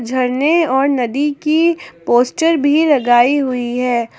झरने और नदी की पोस्टर भी लगाई हुई है।